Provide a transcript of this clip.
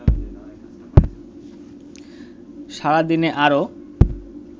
সারা দিনে আরও